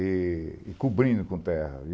e cobrindo com terra.